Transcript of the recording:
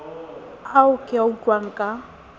ao ke a utlwang ka